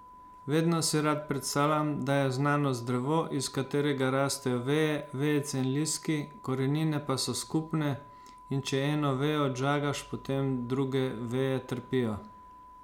Vedno si rad predstavljam, da je znanost drevo, iz katerega rastejo veje, vejice in listki, korenine pa so skupne, in če eno vejo odžagaš, potem druge veje trpijo.